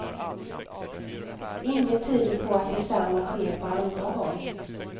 Inget tyder på att detsamma sker på andra håll.